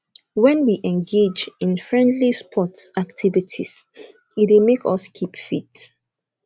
when we engage in friendly sports activities e dey make us keep fit